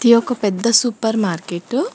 ఇది ఒక పెద్ద సూపర్ మార్కెట్ .